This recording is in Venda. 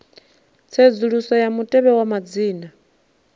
tsedzuluso ya mutevhe wa madzina